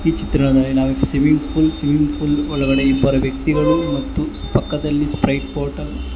ಈ ಚಿತ್ರಣದಲ್ಲಿ ನಾವು ಸ್ವಿಮ್ಮಿಂಗ್ ಪೂಲ್ ಸ್ವಿಮ್ಮಿಂಗ್ ಪೂಲ್ ಒಳಗಡೆ ಇ ಬ್ಬರು ವ್ಯಕ್ತಿಗಳು ಮತ್ತು ಪಕ್ಕದಲ್ಲಿ ಸ್ಪ್ರೈಟ್ ಬಾಟಲ್ --